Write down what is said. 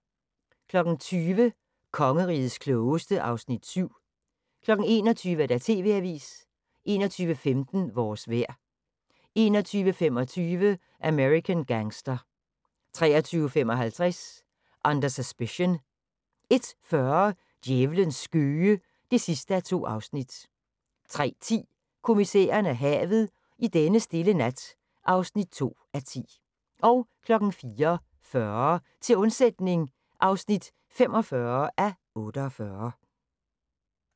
20:00: Kongerigets Klogeste (Afs. 7) 21:00: TV-avisen 21:15: Vores vejr 21:25: American Gangster 23:55: Under Suspicion 01:40: Djævlens skøge (2:2) 03:10: Kommissæren og havet: I denne stille nat (2:10) 04:40: Til undsætning (45:48)